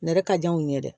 Nɛnɛ ka di anw ye dɛ